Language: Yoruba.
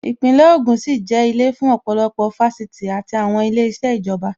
Īpínlè ògùn sì jẹ́ ilé fún ọ̀pọ̀lọpọ̀ Fáṣítì àti àwọn ilé iṣẹ́ ìjọba